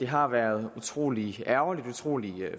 har været utrolig ærgerligt utrolig